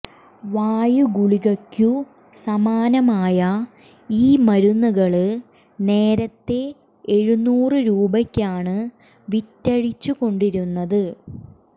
വായുഗുളികയ്ക്കു സമാനമായ ഈ മരുന്നുകള് നേരത്തേ എഴുന്നൂറു രൂപയ്ക്കാണ് വിറ്റഴിച്ചു കൊണ്ടിരുന്നത്